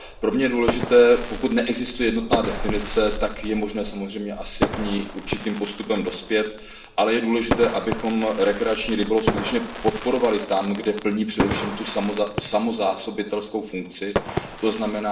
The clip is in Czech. Pro mne je důležité, pokud neexistuje jednotná definice, tak je možné samozřejmě k ní určitým postupem dospět, ale je důležité, abychom rekreační rybolov skutečně podporovali tam, kde plní především tu samozásobitelskou funkci, tzn.